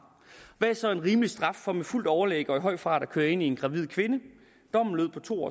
hvad er så en rimelig straf for med fuldt overlæg og i høj fart at køre ind i en gravid kvinde dommen lød på to